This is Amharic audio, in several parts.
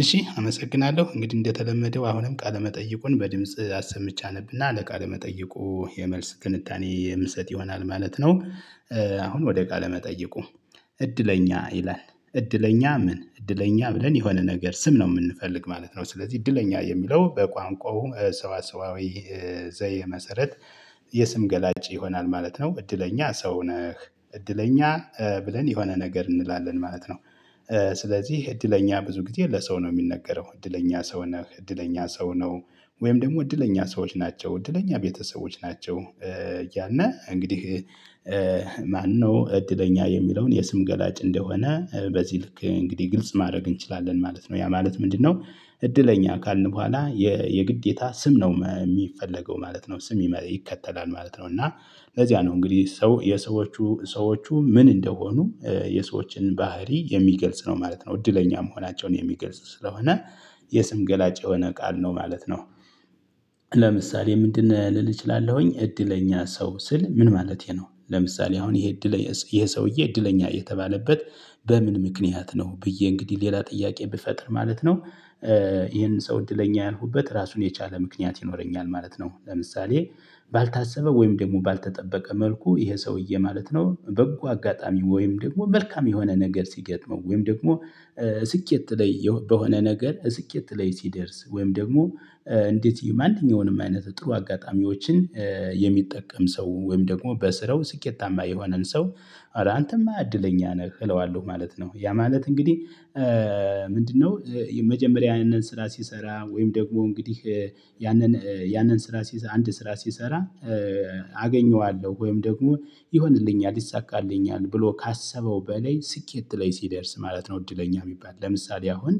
እሺ አመሰግናለሁ እንግዲህ እንደተለመደው አሁንም ቃለመጠይቁን በድምጽ አሰምቼ አነብና ለቃለመጠይቁ የመልስ ትንታኔ የምሰጥ ይሆናል ማለት ነው። አሁን ወደ ቃለ መጠይቁ? እድለኛ ይላል እድለኛ ምን እድለኛ ብለን የሆነ ነገር ስም ነው የምንፈልግ ማለት ነው። ስለዚህ እድለኛ የሚለው በቋንቋው ሰዋሰዋዊ ዘይቤ መሰረት የስም ገላጭ ይሆናል ማለት ነው። እድለኛ ሰው ነህ እድለኛ ብለን የሆነ ነገር እንላለን ማለት ነው። ስለዚህ እድለኛ ብዙ ጊዜ ለሰው ነው የሚነገረው እድለኛ ሰው ነህ እድለኛ ሰው ነው። ወይም ደግሞ እድለኛ ሰዎች ናቸው እድለኛ ቤተሰቦች ናቸው። እያልነ እንግዲህ። ማነው እድለኛ የሚለውን የስም ገላጭ እንደሆነ በዚህ ልክ እንግዲህ ግልጽ ማድረግ እንችላለን ማለት ነው። ያ ማለት ምንድነው? እድለኛ ካልን በኋላ የግዴታ ስም ነው የሚፈለገው ማለት ነው ስም ይከተላል ማለት ነው። እና ለዚያ ነው እንግዲህ ሰው የሰዎቹ ሰዎቹ ምን እንደሆኑ የሰዎችን ባህሪ የሚገልጽ ነው ማለት ነው። እድለኛ መሆናቸውን የሚገልጽ ስለሆነ የስም ገላጭ የሆነ ቃል ነው ማለት ነው። ለምሳሌ ምንድነህ ልል እችላለሁኝ እድለኛ ሰው ስል ምን ማለቴ ነው? ለምሳሌ አሁን ይሄ እድል ይሄ ሰውዬ እድለኛ የተባለበት በምን ምክንያት ነው ብዬ እንግዲህ ሌላ ጥያቄ ብፈጥር ማለት ነው። ይሄን ሰው እድለኛ ያልኩበት ራሱን የቻለ ምክንያት ይኖረኛል ማለት ነው። ለምሳሌ ባልታሰበ ወይም ደግሞ ባልተጠበቀ መልኩ ይሄ ሰውዬ ማለት ነው በጎ አጋጣሚ ወይም ደግሞ መልካም የሆነ ነገር ሲገጥመው ወይም ደግሞ ስኬት ላይ በሆነ ነገር ስኬት ላይ ሲደርስ ወይም ደግሞ እንዴት ማንኛውንም አይነት ጥሩ አጋጣሚዎችን የሚጠቀም ሰው ወይም ደግሞ በስራው ስኬታማ የሆነን ሰው አንተማ እድለኛ ነህ እለዋለሁ ማለት ነው። ያ ማለት እንግዲህ። ምንድነው? መጀመሪያ ያንን ስራ ስሰራ ወይም ደግሞ እንግዲህ ያንን ያንን ስራ አንድ ስራ ሲሰራ አገኘዋለሁ ወይም ደግሞ ይሆንልኛል ይሳካልኛል ብሎ ካሰበው በላይ ስኬት ላይ ሲደርስ ማለት ነው። እድለኛ የሚባል ለምሳሌ አሁን።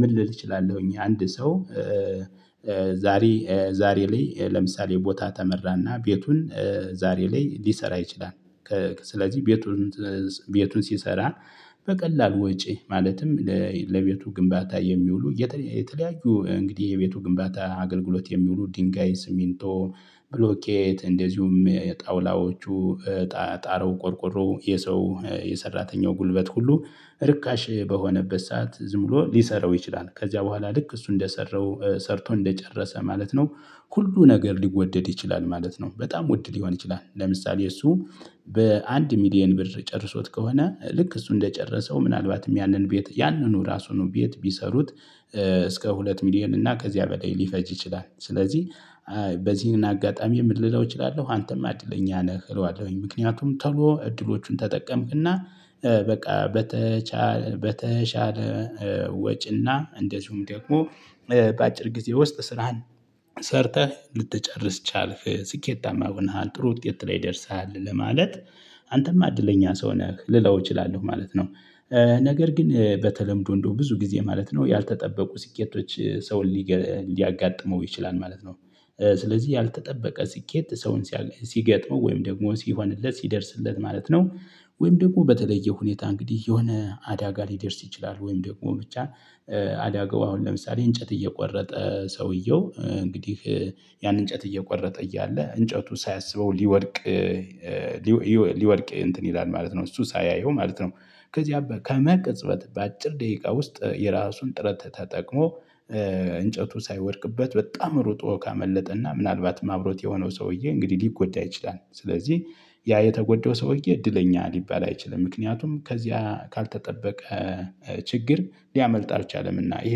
ምን ልል እችላለሁኝ አንድ ሰው ዛሬ ዛሬ ላይ ለምሳሌ ቦታ ተመራና ቤቱን ዛሬ ላይ ሊሰራ ይችላል። ስለዚህ ቤቱን ቤቱን ሲሰራ በቀላል ወጪ ማለትም ለቤቱ ግንባታ የሚውሉ የተለያዩ እንግዲህ የቤቱ ግንባታ አገልግሎት የሚውሉ ድንጋይ ስሚንቶ ብሎኬት እንደዚሁም ጣውላዎቹ ጣራውው ቆርቆሮው የሰው የሰራተኛው ጉልበት ሁሉ ርካሽ በሆነበት ሰዓት ዝም ብሎ ሊሰራው ይችላል። ከዚያ በኋላ ልክ እሱ እንደሰራው ሰርቶ እንደጨረሰ ማለት ነው። ሁሉ ነገር ሊወደድ ይችላል ማለት ነው። በጣም ውድ ሊሆን ይችላል ለምሳሌ እሱ በአንድ ሚሊየን ብር ጨርሶት ከሆነ ልክ እሱ እንደጨረሰው ምናልባትም ያንን ቤት ያንኑ ራሱን ቤት ቢሰሩት እስከ ሁለት ሚሊየን እና ከዚያ በላይ ሊፈጅ ይችላል። ስለዚህ። በዚህን አጋጣሚ ምን ልለው እችላለሁ አንተማ አድለኛ ነህ እለዋለሁኝ ምክንያቱም ቶሎ እድሎቹን ተጠቀምክና። በቃ በተቻለ በተቻለ ወጪና እንደዚሁም ደግሞ በአጭር ጊዜ ውስጥ ስራህን ሰርተህ ልትጨርስ ቻልክ ስኬታማ ሆነሃል ጥሩ ውጤት ላይ ደርሰሃል። ለማለት አንተማ እድለኛ ሰው ነህ ልለው እችላለሁ ማለት ነው። ነገር ግን በተለምዶ እንደው ብዙ ጊዜ ማለት ነው ያልተጠበቁ ስኬቶች ሰውን ሊገ ሊያጋጥመው ይችላል ማለት ነው። ስለዚህ ያልተጠበቀ ስኬት ሰውን ሲገጥመው ወይም ደግሞ ሲሆንበት ሲደርስለት ማለት ነው። ወይም ደግሞ በተለየ ሁኔታ እንግዲህ የሆነ አዳጋ ሊደርስ ይችላል ወይም ደግሞ ብቻ። አዳጋው አሁን ለምሳሌ እንጨት እየቆረጠ ሰውየው እንግዲህ ያን እንጨት እየቆረጠ እያለ እንጨቱ ሳያስበው ሊወድቅ ሊወድቅ እንትን ይላል ማለት ነው። እሱ ሳያየው ማለት ነው። ከዚህ ከመቅጽበት በአጭር ደቂቃ ውስጥ የራሱን ጥረት ተጠቅሞ እንጨቱ ሳይወድቅበት በጣም ሩጦ ካመለጠ እና ምናልባትም አብሮት የሆነው ሰውዬ እንግዲህ ሊጎዳ ይችላል ስለዚህ። ያ የተጎዳው ሰውዬ እድለኛ ሊባል አይችልም ምክንያቱም ከዚያ ካልተጠበቀ ችግር ሊያመልጥ አልቻለምና። ይሄ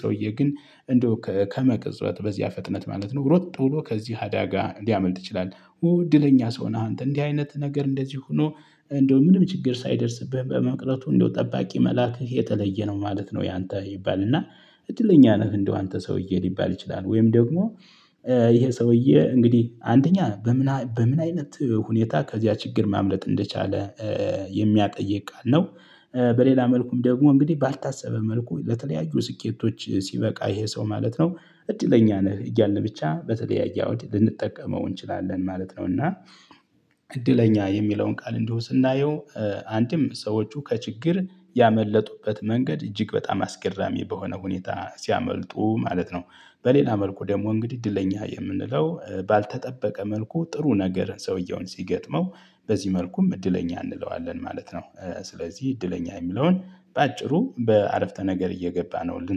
ሰውዬ ግን እንደው ከመቅጽበት በዚያ ፍጥነት ማለት ነው ሮጥ ብሎ ከዚህ አዳጋ ሊያመልጥ ይችላል። እድለኛ ሰው ነህ አንተ እንዲህ አይነት ነገር እንደዚህ ሆኖ። እንደው ምንም ችግር ሳይደርስብህ በመቅረቱ እንደው ጠባቂ መላክህ የተለየ ነው ማለት ነው። ያንተ ይባልና እድለኛ ነህ። እንደው አንተ ሰውዬ ሊባል ይችላል ወይም ደግሞ። ይሄ ሰውዬ እንግዲህ አንደኛ በምን በምን አይነት ሁኔታ ከዚያ ችግር ማምለጥ እንደቻለ የሚያጠይቅ ቃል ነው። በሌላ መልኩም ደግሞ እንግዲህ ባልታሰበ መልኩ በተለያዩ ስኬቶች ሲበቃ ይሄ ሰው ማለት ነው። እድለኛ ነህ እያለ ብቻ በተለያየ አውድ ልንጠቀመው እንችላለን ማለት ነው። እና። እድለኛ የሚለውን ቃል እንዲሁ ስናየው አንድም ሰዎቹ ከችግር ያመለጡበት መንገድ እጅግ በጣም አስገራሚ በሆነ ሁኔታ ሲያመልጡ ማለት ነው። በሌላ መልኩ ደግሞ እንግዲህ እድለኛ የምንለው ባልተጠበቀ መልኩ ጥሩ ነገር ሰውየውን ሲገጥመው በዚህ መልኩም እድለኛ እንለዋለን ማለት ነው። ስለዚህ እድለኛ የሚለውን በአጭሩ በአረፍተ ነገር እየገባ ነው ልን